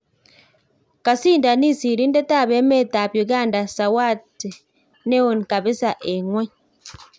Kasindanis siriindet ab emet ab Uganda sawati neon kabisa en ngwony